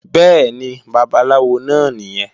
Bẹ́ẹ̀ni, Babaláwo náà nìyẹn